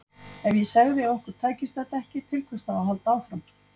Ef ég segði að okkur tækist þetta ekki, til hvers þá að halda áfram?